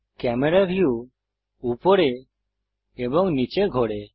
camera view উপরে এবং নীচে ঘোরে